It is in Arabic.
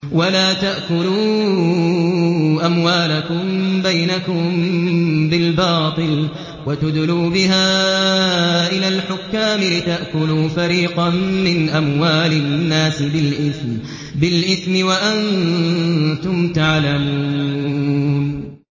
وَلَا تَأْكُلُوا أَمْوَالَكُم بَيْنَكُم بِالْبَاطِلِ وَتُدْلُوا بِهَا إِلَى الْحُكَّامِ لِتَأْكُلُوا فَرِيقًا مِّنْ أَمْوَالِ النَّاسِ بِالْإِثْمِ وَأَنتُمْ تَعْلَمُونَ